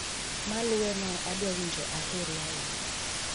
Maluweno adwa winjo aheri ahinya